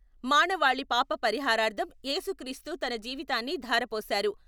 మానవాళి పాపపరిహారార్ధం ఏసుక్రీస్తు తన జీవితాన్ని ధారపోశారు.